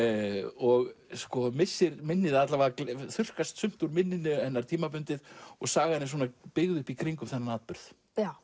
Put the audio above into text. og missir minnir alla vega þurrkast sumt úr minninu tímabundið og sagan er byggð upp í kringum þennan atburð